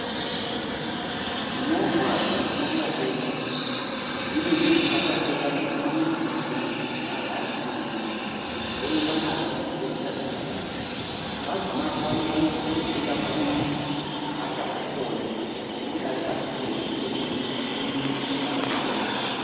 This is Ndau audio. Movha dzinotware vatenda dzimweni dzinototware vatenda kubve kumamizi mwavo, muntu arwarisa maningi, dzorumba naye kuchibhedhlera chiripadhuze. Vagumapo vanokona kutoti utenda hwanyanyisa avachahukoni, wotodariswazve mberi kunenge kune michini yepamberiwo.